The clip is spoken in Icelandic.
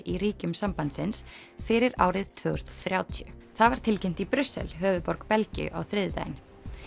í ríkjum sambandsins fyrir árið tvö þúsund og þrjátíu það var tilkynnt í Brussel höfuðborg Belgíu á þriðjudaginn